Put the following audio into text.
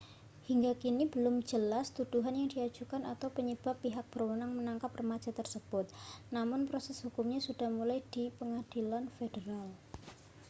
hingga kini belum jelas tuduhan yang diajukan atau penyebab pihak berwenang menangkap remaja tersebut namun proses hukumnya sudah dimulai di pengadilan federal